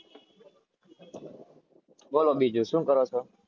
બોલો બીજું શું કરો છો?